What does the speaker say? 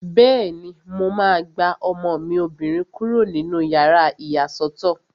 Bẹ́ẹ̀ni, mo máa gba ọmọ mi obìnrin kúrò nínú yàrá ìyàsọ́tọ̀